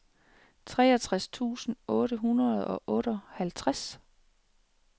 treogtres tusind otte hundrede og otteoghalvtreds